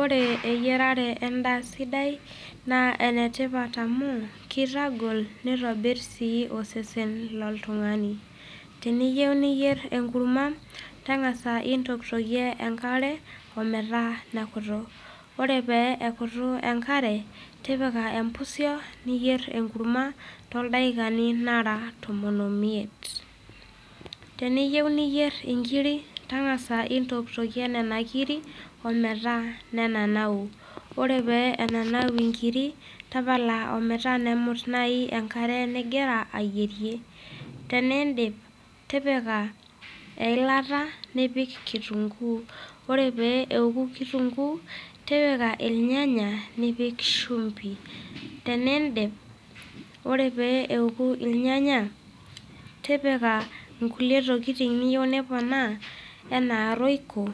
Ore eyarare endaa sidai naa enetipat amuu keitagol neitonirr sii osesen le ltung'ani, teniyeu niyerr enkurrumwa tang'asa intokitokie enkare ometaa nekutuu, ore pee ekutu enkare tipika empusio niiyerr enkurrumwa tto ldakikani oora tomon oo imiet. Teniyeu niyerr enkiri tang'asa intoktokie nena kirri ometaa nenanau, ore pee enanau inkirri tapala ometaa nemut naii enkare nigira aayiere, teneiindip tipika ill'ata nipik nkitung'uu, ore pee eku nkitun'guu ,tipika ilnyanya nipikshumbi, teniindip ore pee eku ilnyanya tipika nkule tokitin niyeu niponaa enaa royco